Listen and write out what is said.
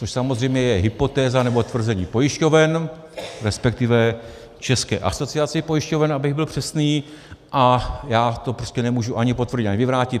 Což samozřejmě je hypotéza, nebo tvrzení pojišťoven, respektive České asociace pojišťoven, abych byl přesný, a já to prostě nemůžu ani potvrdit, ani vyvrátit.